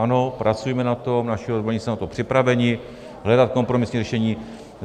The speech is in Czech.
Ano, pracujeme na tom, naši odborníci jsou na to připraveni, hledat kompromisní řešení.